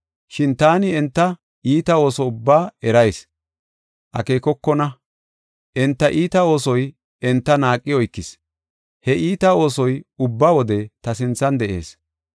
Shin taani enta iita ooso ubbaa ereysa akeekokona. Enta iita oosoy enta naaqi oykis; he iita oosoy ubba wode ta sinthan de7ees.